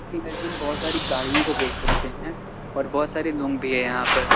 इस इमेज में हम बहोत सारी गाड़ियों को देख सकते हैं और बहोत सारे लोंग भी हैं यहां पर।